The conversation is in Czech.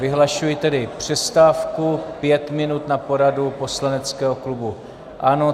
Vyhlašuji tedy přestávku, pět minut na poradu poslaneckého klubu ANO.